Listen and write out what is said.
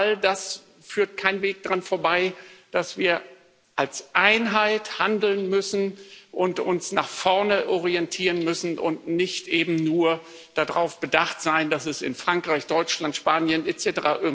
Aber bei all dem führt kein Weg daran vorbei, dass wir als Einheit handeln müssen und uns nach vorne orientieren müssen und eben nicht nur darauf bedacht sein dürfen, dass es in Frankreich, Deutschland, Spanien etc.